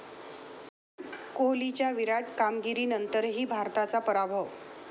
कोहलीच्या 'विराट' कामगिरीनंतरही भारताचा पराभव